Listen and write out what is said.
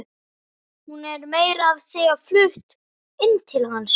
Hún er meira að segja flutt inn til hans.